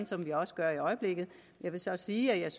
som vi også gør i øjeblikket jeg vil så sige at jeg